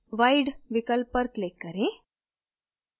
wide विकल्प पर click करें